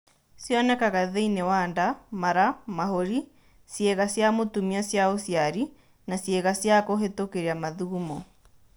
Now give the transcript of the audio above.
Cionekaga thĩinĩ wa nda, mara, mahũri, ciĩga cia mũtumia cia ũciari na ciĩga cia kũhĩtũkĩria mathugumo.